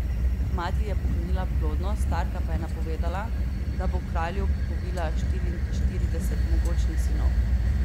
Mati ji je poklonila plodnost, Starka pa je napovedala, da bo kralju povila štiriinštirideset mogočnih sinov.